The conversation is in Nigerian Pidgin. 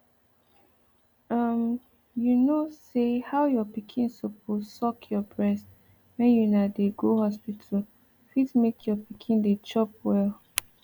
um you know say how your pikin suppose suck your breast when una dey go hospital fit make your pikin dey chop well